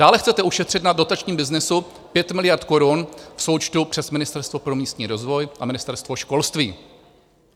Dále chcete ušetřit na dotačním byznysu 5 miliard korun v součtu přes Ministerstvo pro místní rozvoj a Ministerstvo školství.